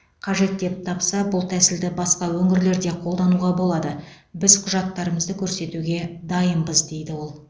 қажет деп тапса бұл тәсілді басқа өңірлер де қолдануға болады біз құжаттарымызды көрсетуге дайынбыз дейді ол